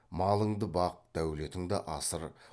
малыңды бақ дәулетіңді асыр